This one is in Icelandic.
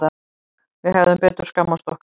Við hefðum betur skammast okkar.